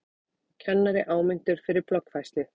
Kennari áminntur fyrir bloggfærslu